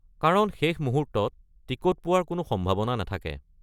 কাৰণ শেষ মুহূৰ্তত টিকট পোৱাৰ কোনো সম্ভাৱনা নাথাকে।